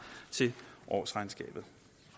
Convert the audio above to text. til årsregnskabet